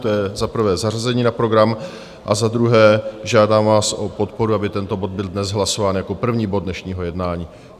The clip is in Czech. To je za prvé, zařazení na program, a za druhé žádám vás o podporu, aby tento bod byl dnes hlasován jako první bod dnešního jednání.